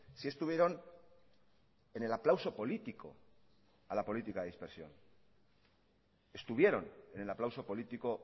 sí estuvieron en el aplauso político a la política de dispersión estuvieron en el aplauso político